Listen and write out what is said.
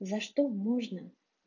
за что можно